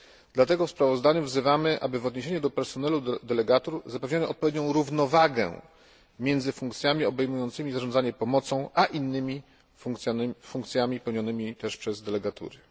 Dlatego w sprawozdaniu wzywamy, aby w odniesieniu do personelu delegatur zapewniono odpowiednią równowagę między funkcjami obejmującymi zarządzanie pomocą a innymi funkcjami pełnionymi przez delegatury.